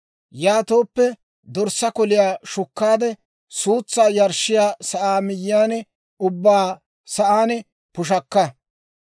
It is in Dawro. Yaatooppe dorssaa koliyaa shukkaade, suutsaa yarshshiyaa sa'aa miyyiyaan ubbaa sa'aan pushakka.